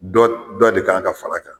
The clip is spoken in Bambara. Dɔ dɔ de ka kan ka fara a kan